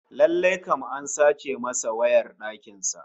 Lallai kam an sace masa wayar dakin sa